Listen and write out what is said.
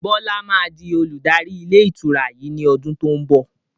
Bọlá máa di olùdarí ilé ìtura yìí ni ọdún to ń bọ̀.